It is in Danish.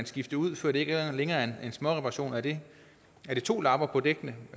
skifte ud før det ikke længere er en småreparation er det to lapper på dækkene